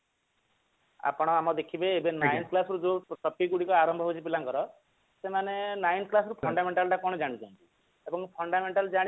ଆପଣ ଆମ ଦେଖିବେ nine class ରୁ ଯୋଉ topic ଗୁଡିକ ଆରମ୍ଭ ହେଉଛି ପିଲାଙ୍କର ସେମାନେ nine class ରୁ fundamental ଟା କଣ ଜାଣୁଛନ୍ତି ଆଉ ତାଙ୍କୁ fundamental ତ ଜାଣିବା